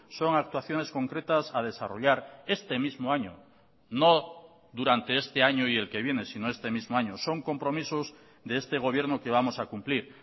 son actuaciones concretas a desarrollar este mismo año no durante este año y el que viene sino este mismo año son compromisos de este gobierno que vamos a cumplir